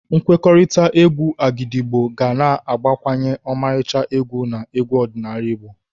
Nkwekọrịta égwù Agidigbo ga na-agbakwunye ọmarịcha egwu na egwu ọdịnala Naijiria.